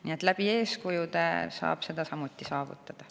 Nii et eeskujude abil saab seda samuti saavutada.